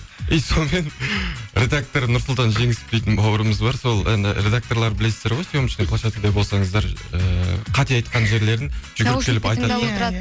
и сонымен редактор нұрсұлтан жеңісов дейтін бауырымыз бар сол іні редакторларды білесіздер ғой съемочный площадкаде болсаңыздар ыыы қате айтқан жерлерін